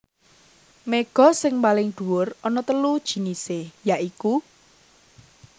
Méga sing paling dhuwur ana telu jinisé ya iku